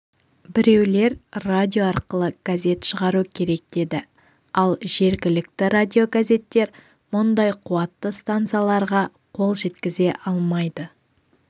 біреулер радио арқылы газет шығару керек деді ал жергілікті радиогазеттер мұндай қуатты станцияларға қол жеткізе алмайды